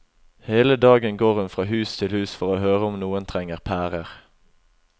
Hele dagen går hun fra hus til hus for å høre om noen trenger pærer.